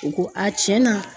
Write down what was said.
U ko cɛnna